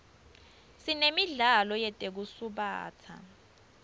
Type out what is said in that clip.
sinemidlalo yetekusubatsa